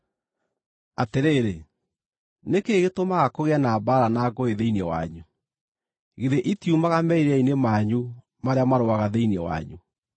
Atĩrĩrĩ, nĩ kĩĩ gĩtũmaga kũgĩe na mbaara na ngũĩ thĩinĩ wanyu? Githĩ itiumaga merirĩria-inĩ manyu marĩa marũaga thĩinĩ wanyu?